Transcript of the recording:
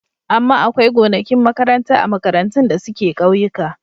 Amma akwai gonakin makaranta a makarantun da suke ƙauyika.